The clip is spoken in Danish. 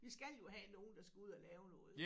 Vi skal jo have nogen der skal ud og lave noget